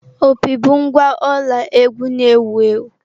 Opi bụ ngwa ọla egwú na-ewu ewu.